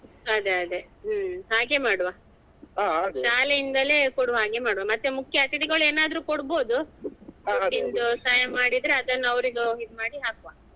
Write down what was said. ಅದೇ ಅದೇ ಹ್ಮ್ ಹಾಗೆ ಮಾಡುವ ಶಾಲೆಯಿಂದಲೇ ಕೊಡುವ ಹಾಗೆ ಮಾಡುವ ಮತ್ತೆ ಮುಖ್ಯ ಅತಿಥಿಗಳು ಏನಾದ್ರು ಕೊಡ್ಬೋದು ದುಡ್ಡಿಂದು ಸಹಾಯ ಮಾಡಿದ್ರೆ ಅದನ್ನು ಅವ್ರಿಗೆ ಇದು ಮಾಡಿ ಹಾಕುವ.